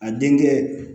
A denkɛ